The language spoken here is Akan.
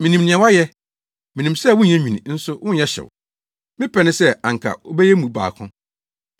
Minim nea woayɛ. Minim sɛ wonyɛ nwini nso wonyɛ hyew. Me pɛ ne sɛ anka wobɛyɛ mu baako.